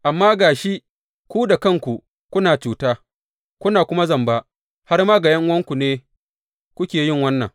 Amma ga shi ku da kanku kuna cuta, kuna kuma zamba, har ma ga ’yan’uwanku ne kuke yi wannan.